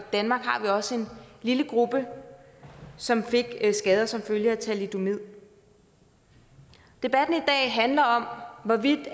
danmark har vi også en lille gruppe som fik skader som følge af thalidomid debatten i dag handler om hvorvidt